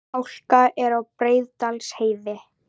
Hálka er á Breiðdalsheiði